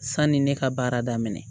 Sani ne ka baara daminɛ